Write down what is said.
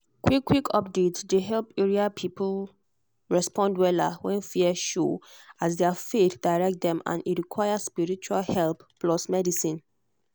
quick-quick updates dey help area people respond wella when fear show as their faith direct them and e require spiritual help plus medicine.